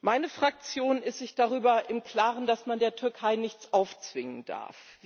Meine Fraktion ist sich darüber im Klaren, dass man der Türkei nichts aufzwingen darf.